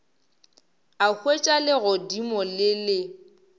a hwetša legodimo le le